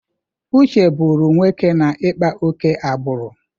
Uche bụrụ nwoke na-ịkpa ókè agbụrụ.